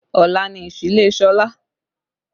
Ọ̀la ni ìsílé Sọlá